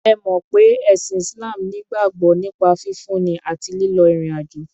Ẹ mọ̀ pé ẹ̀sìn Islam ní ìgbàgbọ́ nípa fífúnni àti lílọ ìrìn àjò.